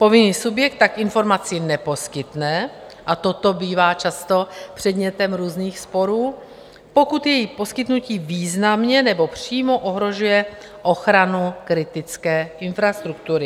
Povinný subjekt tak informaci neposkytne - a toto bývá často předmětem různých sporů - pokud její poskytnutí významně nebo přímo ohrožuje ochranu kritické infrastruktury.